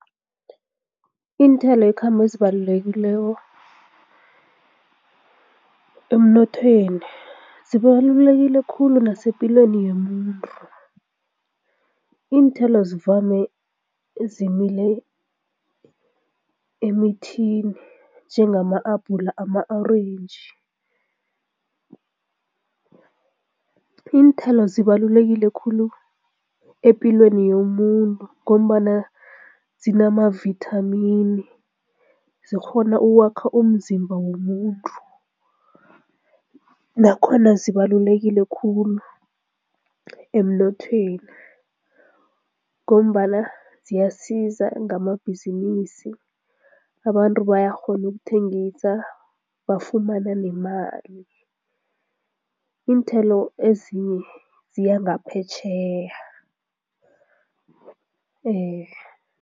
Iinthelo ezibalulekileko emnothweni, zibalulekile khulu nasepilweni yomuntu. Iinthelo zivame zimile emithini njengama-abhula, ama-orentji. Iinthelo zibalulekile khulu epilweni yomuntu ngombana zinamavithamini, zikghona ukwakha umzimba womuntu nakhona zibalulekile khulu emnothweni ngombana ziyasiza ngamabhizinisi, abantu bayakghona ukuthengisa, bafumana nemali, iinthelo ezinye ziya ngaphetjheya